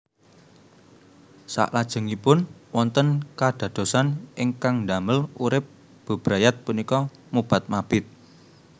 Saklajengipun wonten kadadosan ingkang ndamel urip bebrayat punika mobat mabit